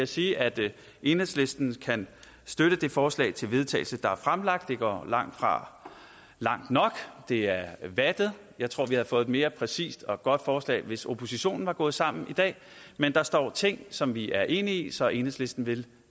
sige at enhedslisten kan støtte det forslag til vedtagelse der er fremsat det går langtfra langt nok det er vattet og jeg tror vi havde fået et mere præcist og godt forslag hvis oppositionen var gået sammen i dag men der står ting som vi er enige i så enhedslisten vil